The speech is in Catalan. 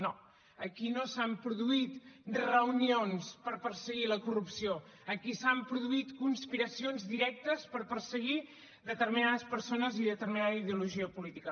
no aquí no s’han produït reunions per perseguir la corrupció aquí s’han produït conspiracions directes per perseguir determinades persones i determinada ideologia política